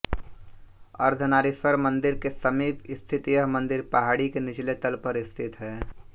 अर्धनारीश्वर मंदिर के समीप स्थित यह मंदिर पहाड़ी के निचले तल पर स्थित है